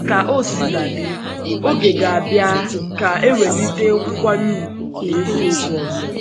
Ka o Ka o sina dị, oge ga-abịa ka ewelite nkwanye ùgwù n’eziokwu ọzọ.